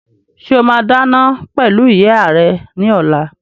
Ṣé o máa dáná pẹ̀lú ìyá rẹ ní ọ̀la?